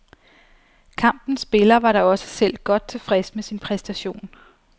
Kampens spiller var da også selv godt tilfreds med sin præstation.